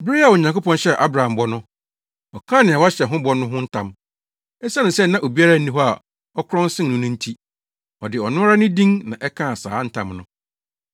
Bere a Onyankopɔn hyɛɛ Abraham bɔ no, ɔkaa nea wahyɛ ho bɔ no ho ntam. Esiane sɛ na obiara nni hɔ a ɔkorɔn sen no no nti, ɔde ɔno ara ne din na ɛkaa saa ntam no.